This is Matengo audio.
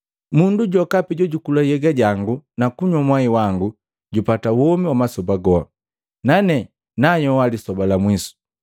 Mundu jokapi jojukula nhyega jangu na kunywa mwai wango jupata womi wa masoba goha, nane nayoha lisoba la mwiso.